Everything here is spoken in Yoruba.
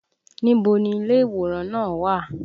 Ibo ni ilé ìwòran náà wà?